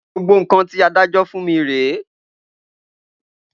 Gbogbo nkan ti adájọ́ fún mí re